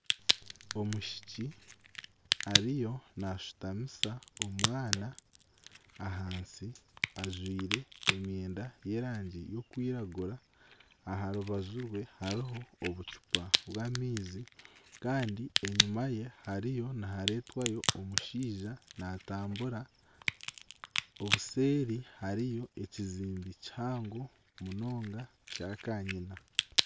Omwishiki ariyo naashutamisa omwana ahansi ajwire emyenda y'erangi y'okwiragura aha rubaju rwe hariho obucupa bw'amaizi kandi enyima ye hariyo nihareetwayo omushaija naatambura obuseeri hariyo ekiziimbe kihango munonga kya kanyina